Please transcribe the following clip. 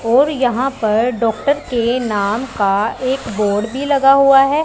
और यहां पर डॉक्टर के नाम का एक बोर्ड भी लगा हुआ है।